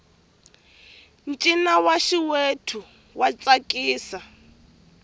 ncino wa xiwethu wa tsakisa